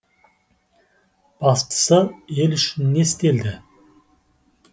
бастысы ел үшін не істелді